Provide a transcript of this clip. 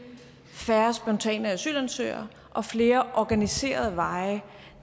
færre spontane asylansøgere og flere organiserede veje